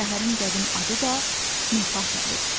Şəhərin qədim adı da Nefatadır.